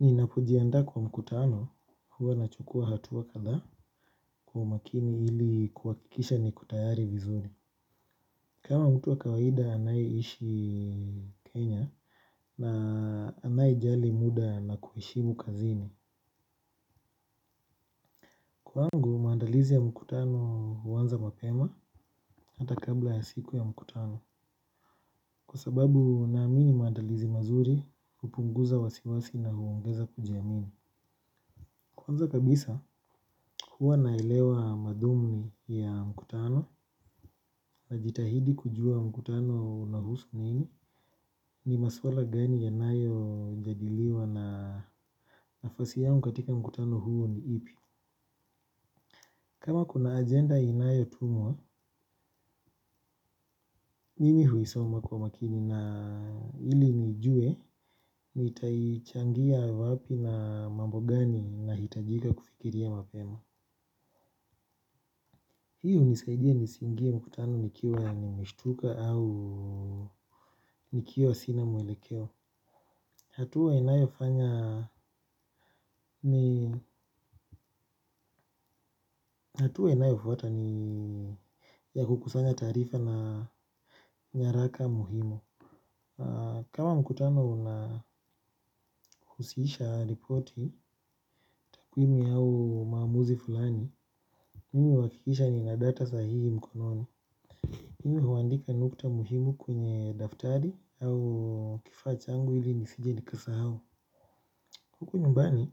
Ninapojiandaa kwa mkutano huwa nachukuwa hatua katha kwa makini ili kuhakikisha niko tayari vizuri. Kama mtu wa kawaida anayeishi Kenya na anayejali muda na kuheshimu kazini. Kwangu maandalizi ya mkutano huanza mapema hata kabla ya siku ya mkutano. Kwa sababu naamini maandalizi mazuri hupunguza wasiwasi na huongeza kujiamini. Kwanza kabisa huwa naelewa mathumni ya mkutano najitahidi kujua mkutano unahusu nini ni maswala gani yanayojadiliwa na nafasi yangu katika mkutano huo ni ipi. Kama kuna agenda inayotumwa mimi huisoma kwa makini na ili nijue nitaichangia wapi na mambo gani nahitajika kufikiria mapema. Hii hunisaidia nisiingie mkutano nikiwa nimeshtuka au nikiwa sina mwelekeo. Hatua inayofanya ni hatua inayofuata ni ya kukusanya taarifa na nyaraka muhimu. Kama mkutano unahusisha ripoti, takwimi au maamuzi fulani mimi huakikisha nina data sahihi mkononi. Mimi huandika nukta muhimu kwenye daftari au kifaa changu ili nisije nikasahau. Huku nyumbani,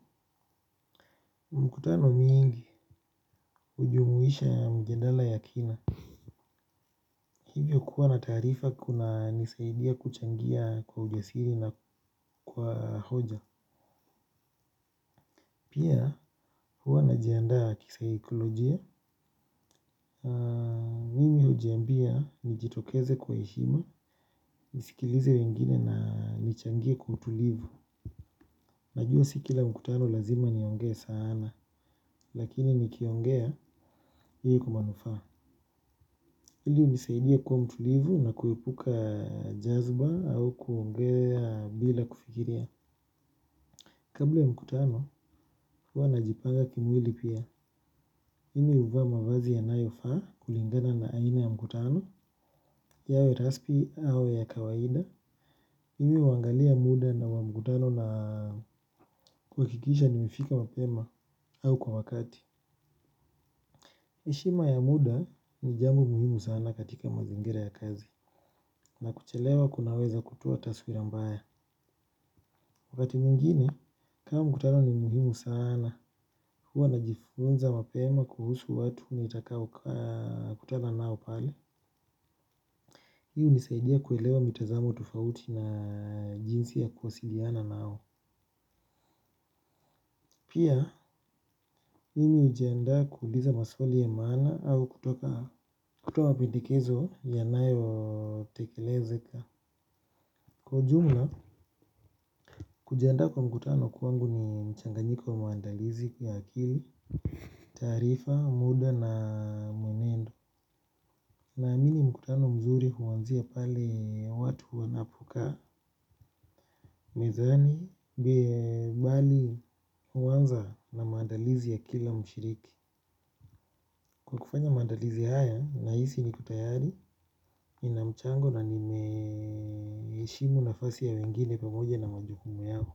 mkutano mingi hujumuisha mjandala ya kina. Hivyo kuwa na taarifa kunanisaidia kuchangia kwa ujasiri na kwa hoja. Pia huwa najiandaa kisaikolojia. Mimi hujiambia nijitokeze kwa heshima, nisikilize wengine na nichangie kwa utulivu. Najua si kila mkutano lazima niongee sana, lakini nikiongea hii kwa manufaa hili hunisaidia kuwa mtulivu na kuepuka jazba au kuongea bila kufikiria. Kabla ya mkutano, huwa najipanga kimwili pia. Mimi huvaa mavazi yanayofaa kulingana na aina ya mkutano yawe recipe au ya kawaida mimi huangalia muda na wa mkutano na kuhakikisha nimefika mapema au kwa wakati. Heshima ya muda ni jambo muhimu sana katika mazingira ya kazi na kuchelewa kunaweza kutoa taswira mbaya. Wakati mwingine kama mkutano ni muhimu sana huwa najifunza mapema kuhusu watu nitakaokutana nao pale. Hii hunisaidia kuelewa mitazamo tufauti na jinsi ya kuwasiliana nao. Pia, mimi hujiandaa kuuliza maswali ya maana au kutoa pendekezo yanayotekelezeka. Kwa ujumla, kujiandaa kwa mkutano kwangu ni mchanganyiko wa maandalizi ya akili, taarifa, muda na mwenendo. Naamini mkutano mzuri huanzia pale watu wanapokaa, mezani, bali huanza na maandalizi ya kila mshiriki. Kwa kufanya maandalizi haya, nahisi niko tayari, nina mchango na nimeheshimu nafasi ya wengine pamoja na majukumu yao.